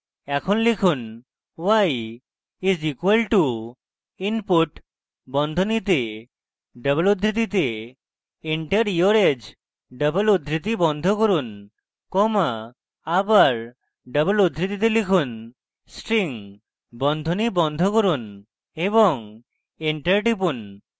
এখন লিখুন y is equal to input বন্ধনীতে double উদ্ধৃতিতে enter your age double উদ্ধৃতি বন্ধ করুন comma আবার double উদ্ধৃতিতে লিখুন string বন্ধনী বন্ধ করুন এবং enter টিপুন